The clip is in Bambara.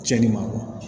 Cɛnnin ma bɔ